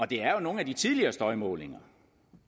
det er jo nogle af de tidligere støjmålinger